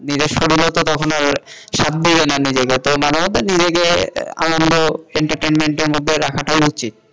নিজের শরীরও তো তখন আর সাথ দেবে না নিজেকে, তো মাঝেমধ্যে নিজেকে আনন্দ entertainment এর মধ্যে রাখাটাও উচিত।